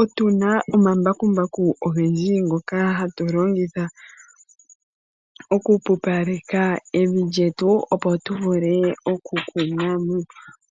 Otuna omambakumbaku ogendji ngoka hatu longitha oku pupaleka evi lyetu, opo tu vule oku kuna mo.